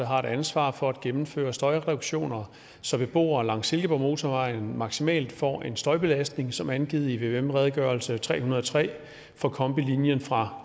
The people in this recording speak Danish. har et ansvar for at gennemføre støjreduktioner så beboere langs silkeborgmotorvejen maksimalt får en støjbelastning som angivet i vvm redegørelse tre hundrede og tre for kombilinien fra